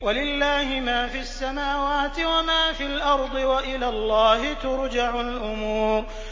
وَلِلَّهِ مَا فِي السَّمَاوَاتِ وَمَا فِي الْأَرْضِ ۚ وَإِلَى اللَّهِ تُرْجَعُ الْأُمُورُ